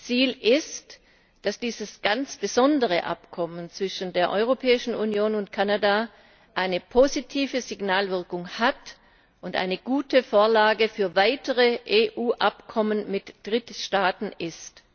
Ziel ist, dass dieses ganz besondere Abkommen zwischen der Europäischen Union und Kanada eine positive Signalwirkung hat und eine gute Vorlage für weitere EU Abkommen mit Drittstaaten ist.